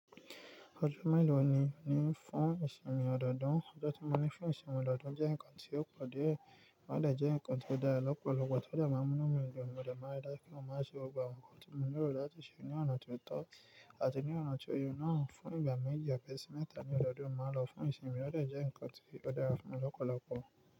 Ọjọ́ mélòó ni ń fún ìsinmi ọdọọdún? Ọjọ́ tí mo ní fún ìsinmi ọdọọdún jẹ́ nǹkan tó pọ̀ dé, ó dẹ̀ jẹ́ nǹkan tó dára lọ́pọ̀lọpọ̀ tode máa ń múnú mi dùn mọ dé máa ri dàju pe mo má ṣe gbogbo awon nǹkan tí mo lérò láti ṣe ní ọ̀nà tó tọ́ àti ní ọ̀nà tó ye nà á. Fún ìgbà méji, àbísímétà ẹ́ẹ̀ sì mẹ́ta ni ọdọọdún máa lọ fún ìsinmi ó dẹ̀ jẹ́ nǹkan tó dára fún ọ̀pọ̀lọpọ̀